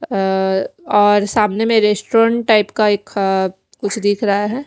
अ और सामने में एक रेस्टोरेंट टाइप का एक कुछ दिख रहा है।